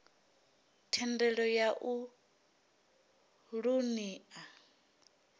thendelo ya u ṱun ḓa